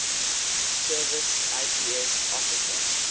service ips officer